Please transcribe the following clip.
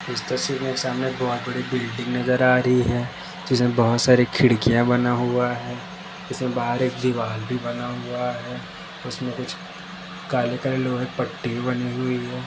इस तस्वीर में सामने बहुत बड़ी बिल्डिंग नजर आ रही हैं। जिसमे बहुत सारे खिड़किया बना हुआ हैं। इसमें बहार एक दीवार भी बना हुआ हैं। उसमें कुछ काले काले लोहे पट्टी बानी हुई हैं।